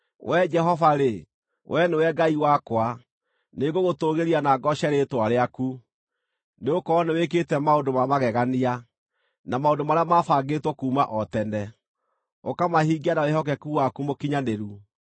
Wee Jehova-rĩ, Wee nĩwe Ngai wakwa; nĩngũgũtũũgĩria na ngooce rĩĩtwa rĩaku, nĩgũkorwo nĩwĩkĩte maũndũ ma magegania, na maũndũ marĩa maabangĩtwo kuuma o tene, ũkamahingia na wĩhokeku waku mũkinyanĩru.